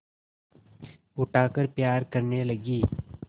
उठाकर प्यार करने लगी